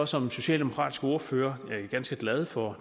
som socialdemokratisk ordfører ganske glad for